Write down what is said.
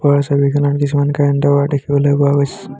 ওপৰৰ ছবিখনত কিছুমান কাৰেন্ট ৰ ৱাইৰ দেখিবলৈ পোৱা গৈছে।